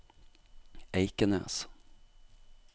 Eikenes